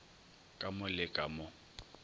ka mo le ka mo